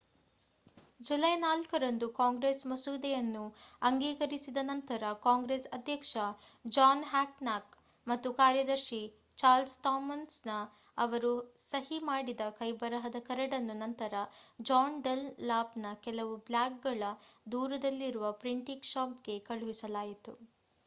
July 4 ರಂದು Congress ಮಸೂದೆಯನ್ನು ಅಂಗೀಕರಿಸಿದ ನಂತರ ಕಾಂಗ್ರೆಸ್ ಅಧ್ಯಕ್ಷ ಜಾನ್ ಹ್ಯಾನ್ಕಾಕ್ ಮತ್ತು ಕಾರ್ಯದರ್ಶಿ ಚಾರ್ಲ್ಸ್ ಥಾಮ್ಸನ್ ಅವರು ಸಹಿ ಮಾಡಿದ ಕೈಬರಹದ ಕರಡನ್ನು ನಂತರ ಜಾನ್ ಡನ್‌ಲಾಪ್‌ನ ಕೆಲವು ಬ್ಲಾಕ್‌ಗಳ ದೂರದಲ್ಲಿರುವ ಪ್ರಿಂಟಿಂಗ್ ಶಾಪ್‌ಗೆ ಕಳುಹಿಸಲಾಯಿತು